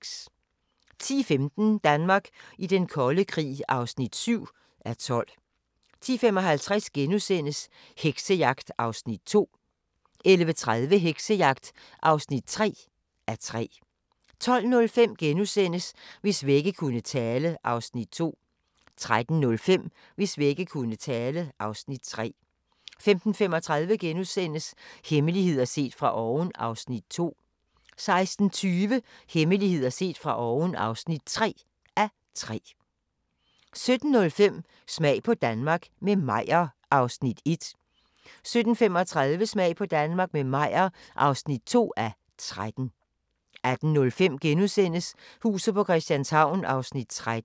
10:15: Danmark i den kolde krig (7:12) 10:55: Heksejagt (2:3)* 11:30: Heksejagt (3:3) 12:05: Hvis vægge kunne tale (Afs. 2)* 13:05: Hvis vægge kunne tale (Afs. 3) 15:35: Hemmeligheder set fra oven (2:3)* 16:20: Hemmeligheder set fra oven (3:3) 17:05: Smag på Danmark – med Meyer (1:13) 17:35: Smag på Danmark – med Meyer (2:13) 18:05: Huset på Christianshavn (13:84)*